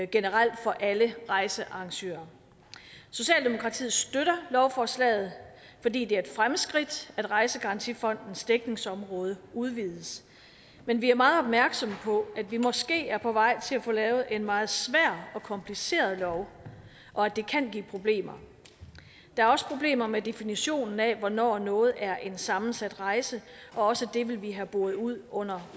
generelt for alle rejsearrangører socialdemokratiet støtter lovforslaget fordi det er et fremskridt at rejsegarantifondens dækningsområde udvides men vi er meget opmærksomme på at vi måske er på vej til at få lavet en meget svær og kompliceret lov og at det kan give problemer der er også problemer med definitionen af hvornår noget er en sammensat rejse og også det vil vi have boret ud under